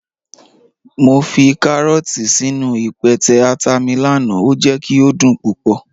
Mọ fi kàrọọ̀tì sínu ìpẹtẹ̀ àtà mi lánà, o jẹ̀ kí o dún púpọ̀.